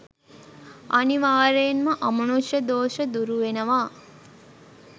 අනිවාර්යයෙන්ම අමනුෂ්‍ය දෝෂ දුරුවෙනවා.